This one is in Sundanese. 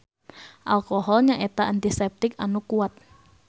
Alkohol nyaeta antiseptik anu kuat.